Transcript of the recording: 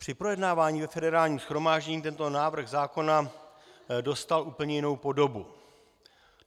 Při projednávání ve Federálním shromáždění tento návrh zákona dostal úplně jinou podobu.